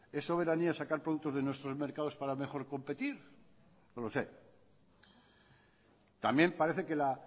es soberanía sacar productos de nuestros mercados para mejor competir no lo sé también parece que la